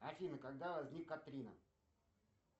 афина когда возник катрина